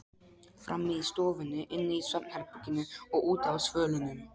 Frammi í stofunni, inni í svefnherberginu og úti á svölunum.